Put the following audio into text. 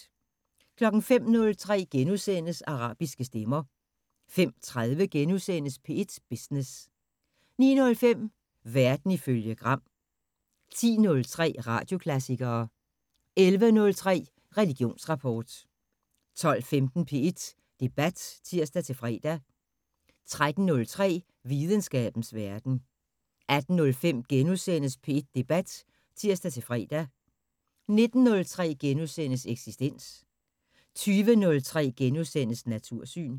05:03: Arabiske stemmer * 05:30: P1 Business * 09:05: Verden ifølge Gram 10:03: Radioklassikere 11:03: Religionsrapport 12:15: P1 Debat (tir-fre) 13:03: Videnskabens Verden 18:05: P1 Debat *(tir-fre) 19:03: Eksistens * 20:03: Natursyn *